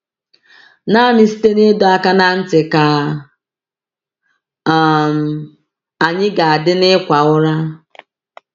Naanị site n’ịdọ aka ná ntị ka um anyị ga-adị n’ịkwa ụra.